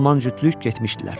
Alman cütlük getmişdilər.